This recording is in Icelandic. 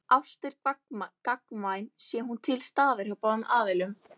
Ást er gagnkvæm sé hún til staðar hjá báðum aðilum.